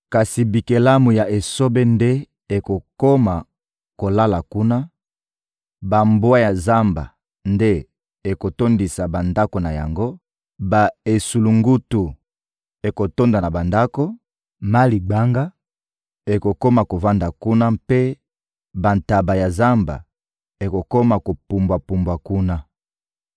Kasi bikelamu ya esobe nde ekokoma kolala kuna; bambwa ya zamba nde ekotondisa bandako na yango, ba-esulungutu ekotonda na bandako, maligbanga ekokoma kovanda kuna mpe bantaba ya zamba ekokoma kopumbwa-pumbwa kuna.